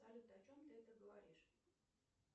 салют о чем ты это говоришь